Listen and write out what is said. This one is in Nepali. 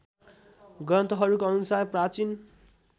ग्रन्थहरूको अनुसार प्राचीन